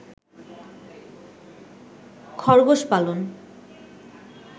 খরগোশ পালন